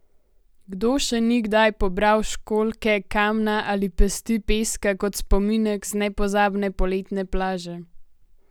Kdo še ni kdaj pobral školjke, kamna ali pesti peska kot spominek z nepozabne poletne plaže?